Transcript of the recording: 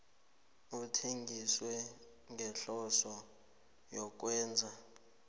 ithengiswe ngehloso yokwenza